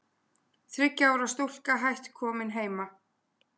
Þriggja ára stúlka hætt komin heima